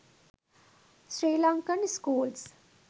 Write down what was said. srilankan schools